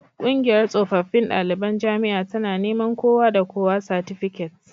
Kungiyar tsofaffin daliban jami'a tana neman kowa da kowa satifiket